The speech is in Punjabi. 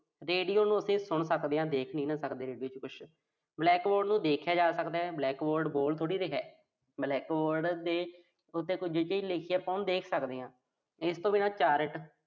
radio ਨੂੰ ਅਸੀਂ ਸੁਣ ਸਕਦੇ ਆਂ। ਦੇਖ ਨੀਂ ਨਾਹ ਸਕਦੇ ਆਪਾਂ ਉਹਦੇ ਚ ਕੁਸ਼। black board ਨੂੰ ਦੇਖਿਆ ਜਾ ਸਕਦਾ। black board ਬੋਲ ਥੋੜ੍ਹੀ ਰਿਹਾ। black board ਦੇ ਉੱਤੇ ਆਪਾਂ ਕੋਈ ਚੀਜ਼ ਲਿਖ ਕੇ ਆਪਾਂ ਉਹਨੂੰ ਦੇਖ ਸਕਦੇ ਆਂ। ਇਸ ਤੋਂ ਬਿਨਾਂ chart